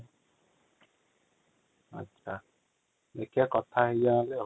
ଦେଖିବା କଥା ହେଇଯିବା |